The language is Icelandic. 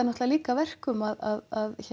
líka að verkum að